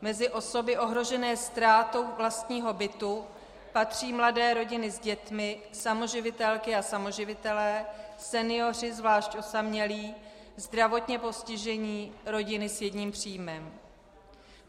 Mezi osoby ohrožené ztrátou vlastního bytu patří mladé rodiny s dětmi, samoživitelky a samoživitelé, senioři, zvlášť osamělí, zdravotně postižení, rodiny s jedním příjmem.